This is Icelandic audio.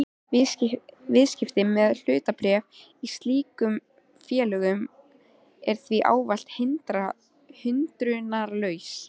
Viðskipti með hlutabréf í slíkum félögum er því ávallt hindrunarlaus.